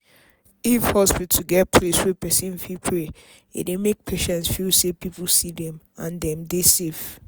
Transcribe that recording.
if hospital get place wey person fit pray e dey make patients feel say people see dem and dem dey safe.